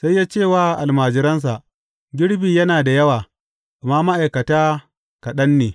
Sai ya ce wa almajiransa, Girbi yana da yawa, amma ma’aikata kaɗan ne.